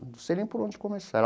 Não sei nem por onde começar.